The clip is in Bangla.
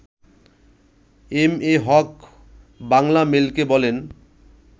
এম এ হক বাংলামেইলকে বলেন